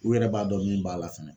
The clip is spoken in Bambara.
U yɛrɛ b'a dɔn min b'a la fɛnɛ